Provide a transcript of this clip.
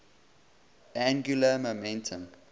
angular momentum